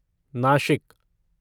Nashik